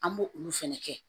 An b'o olu fɛnɛ kɛ